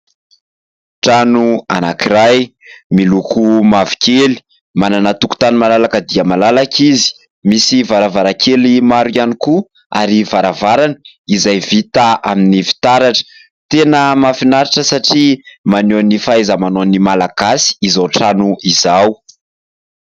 Trano anankiray miloko mavokely manana tokotany malalaka dia malalaka izy, misy varavarankely maro ihany koa ary varavarana izay vita amin'ny fitaratra. Tena mahafinaritra satria maneho ny fahaizamanaon'ny Malagasy izao trano izao.